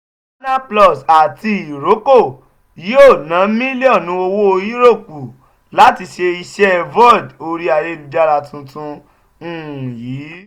canal plus àti iroko yóò ná mílíọ̀nù owó yúróòpù láti ṣe iṣẹ́ vod orí ayélujára tuntun um yìí.